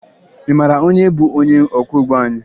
Ị mara onye bụ onye ọkwọụgbọ anyị?